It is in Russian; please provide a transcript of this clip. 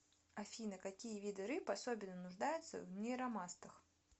афина какие виды рыб особенно нуждаются в нейромастах